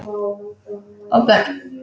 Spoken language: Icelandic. Og börn.